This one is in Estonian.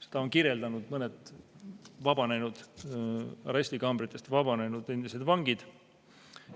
Seda on kirjeldanud mõned arestikambritest vabanenud endised vangid.